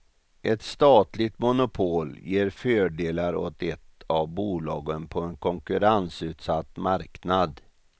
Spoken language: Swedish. Ett statligt monopol ger fördelar åt ett av bolagen på en konkurrensutsatt marknad.